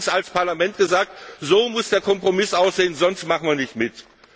Wir haben allerdings als Parlament gesagt So muss der Kompromiss aussehen, sonst machen wir nicht